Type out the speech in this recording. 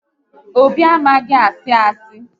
Obi amaghị asị asị